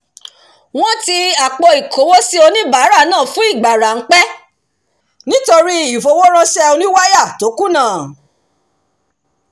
wọ́n ti àpò-ìkówósí oníbàárà náà fún ìgbà ráḿpẹ́ nítorí ìfowó-ránṣẹ́ oníwáyà tó kùnà